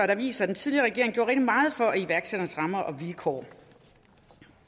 der viser at den tidligere regering gjorde rigtig meget for iværksætternes rammer og vilkår